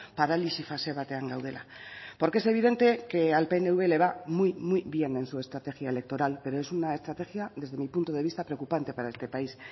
paralisi fase batean gaudela porque es evidente que al pnv le va muy muy bien en su estrategia electoral pero es una estrategia desde mi punto de vista preocupante para este país